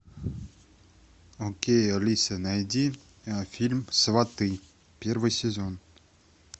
окей алиса найди фильм сваты первый сезон